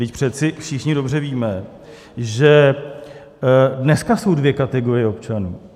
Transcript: Vždyť přece všichni dobře víme, že dneska jsou dvě kategorie občanů.